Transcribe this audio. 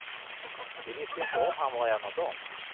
Vi visste ju inte om han var en av dem.